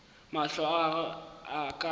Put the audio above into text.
mahlo a gagwe a ka